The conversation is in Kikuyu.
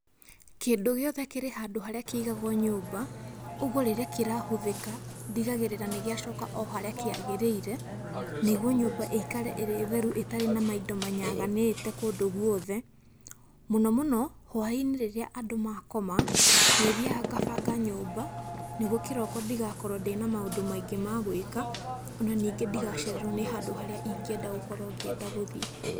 Kĩndũ gĩothe kĩrĩ handũ harĩa kĩigagwo nyũmba, ũguo rĩrĩa kĩrahũthĩka, ndigagĩrĩra nĩgĩacoka o harĩa kĩagĩrĩire, nĩguo nyũmba ĩikare ĩrĩ theru ĩtarĩ na maindo manyaganĩte kũndũ guothe. Mũno mũno, hwaĩ-inĩ hĩndĩ ĩrĩa andũ maakoma, nĩ thiaga ngabanga nyũmba, nĩguo kĩroko ndĩgakorwo ndĩna maũndũ maingĩ ma gwĩka, ona ningĩ ndigacererwo nĩ handũ harĩa ingĩenda gũkorwo ngĩenda gũthiĩ.